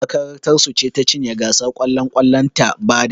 Makarantar su ce ta cinye gasar kwallon kwallon ta bada